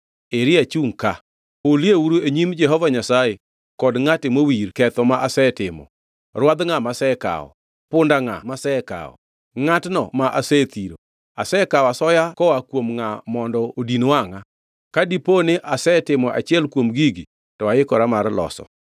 Eri achungʼ ka. Hulieuru e nyim Jehova Nyasaye kod ngʼate mowir ketho ma asetimo. Rwadh ngʼa masekawo? Punda ngʼa masekawo? Ngʼatno ma asethiro? Asekawo asoya koa kuom ngʼa mondo odin wangʼa? Ka dipo ni asetimo achiel kuom gigi, to aikora mar loso.”